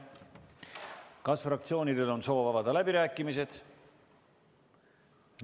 Kas fraktsioonidel on soov avada läbirääkimised?